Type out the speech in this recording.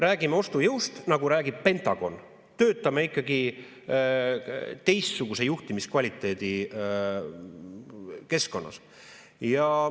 Räägime ostujõust, nagu räägib Pentagon, töötame ikkagi teistsuguse juhtimiskvaliteedi keskkonnas.